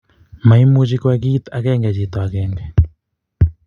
Maimuche koyai kit agenge chiti agenge.